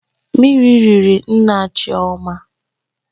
Mmiri riri nna Chioma